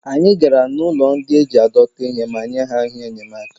anyị gara n'ụlọ ndị e ji adọta ihe ma nye ha ihe enyemaka